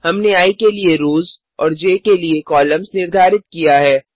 हमने आई के लिए रोज़ और ज के लिए कॉलम्स निर्धारित किया है